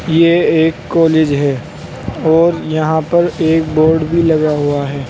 यह एक कॉलेज है और यहां पर एक बोर्ड भी लगा हुआ है।